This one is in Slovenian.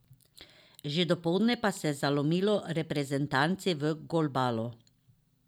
Že dopoldne pa se je zalomilo reprezentanci v golbalu.